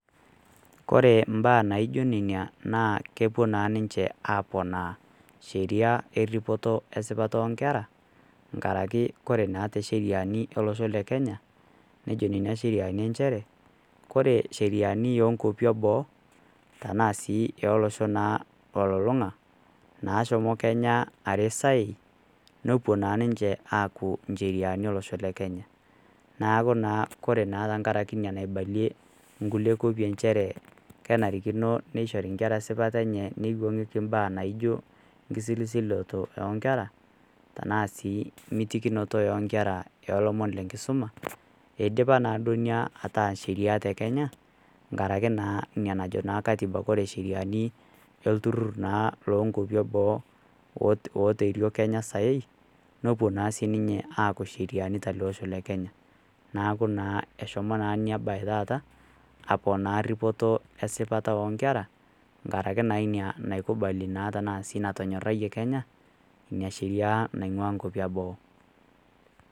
Kore imbaa naijo neina naa kepuo naa ninche aaponaa Sheria eripoto esipata o nkera, enkaraki naa ore naa te Sheriani olosho le Kenya neijo nena sheriani nchere Kore sheriani o nkwapi e boo tanaa sii olosho naa olulung'a nashomo Kenya eresai nepuo naa ninche aaku incheriani olosho le Kenya. Neaku naa Kore tenkaraki Ina naibalie inkulie kwapi nchere kenarikino neishori inkera esipata enye neiwang'ieki imbaa naijo enkisilisiloto o nkera, tanaa sii mitikinoto o nkera ilomon le enkisuma, eidipa naa duo ina ataa sheriaa te Kenya, enkaraki naa Ina najo Katiba Kore isheriani olturur naa loo nkwapi e boo oterio Kenya saii nepuo naa sii ninche aaku incheriani te ele losho le Kenya. Neaku naa eshomo naa neiboitari taata aponaa eripoto esipata o nkera enkaraki naa Ina naikubalia ashu natonyoraiyie Kenya Ina Sheria naing'ua inkwapi e boo.